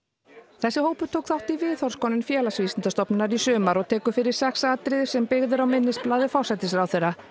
þessi hópur tók þátt í viðhorfskönnun Félagsvísindastofnunar í sumar og tekur fyrir sex atriði sem byggð eru á minnisblaði forsætisráðherra